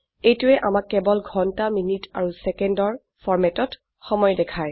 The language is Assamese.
এইটোৱে আমাক কেবল ঘন্টা মিনিট আৰু সেকেন্ডৰ হ্হ এমএম এছএছ ফৰম্যাটেত সময় দেখায়